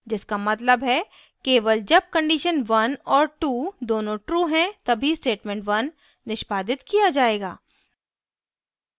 जिसका मतलब है केवल जब conditions 1 और 2 दोनों true हैं that statement 1 निष्पादित किया जायेगा